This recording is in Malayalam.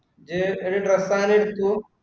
ഇജ്ജ് ഒരു dress അങ്ങിനെ എടുത്തു.